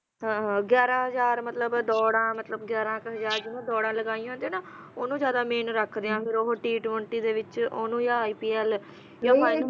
ਹਾਂ ਹਾਂ ਗਿਆਰਾਂ ਹਜ਼ਾਰ ਮਤਲਬ ਦੌੜਾਂ ਗਿਆਰਾਂ ਕ ਹਜ਼ਾਰ ਜਿਹਨੇ ਦੌੜਾਂ ਲਗਾਈਆਂ ਹੁੰਦੀਆਂ ਹੈ ਨਾ ਓਹਨੂੰ ਜਿਆਦਾ main ਰੱਖਦੇ ਆ ਫਿਰ ਓਹਨੂੰ t twently ਵਿਚ ਓਹਨੂੰ ਯਾ ipl ਯਾ